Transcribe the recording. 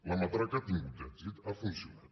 la matraca ha tingut èxit ha funcionat